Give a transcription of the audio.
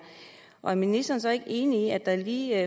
er ministeren så ikke enig i at der lige